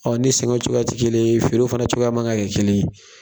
Ɔ ni sɛnɛw cogoya tɛ kelen ye, feerew fana cogoya man kɛ kelen ye.